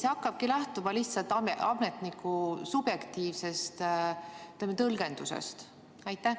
Või hakkabki see lähtuma lihtsalt ametniku subjektiivsest tõlgendusest?